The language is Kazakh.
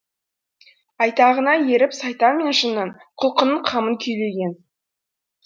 айтағына еріп сайтан мен жынның құлқынның қамын күйлеген